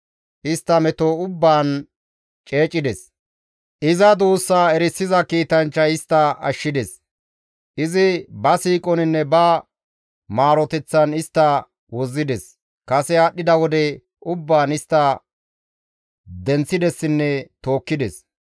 Istta meto ubbaan ceecides; Iza duussaa erisiza kiitanchchay istta ashshides; izi ba siiqoninne ba maaroteththan istta wozzides. Kase aadhdhida wode ubbaan istta denththidesinne tookkides.